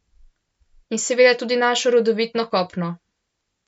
In seveda tudi naše rodovitno kopno.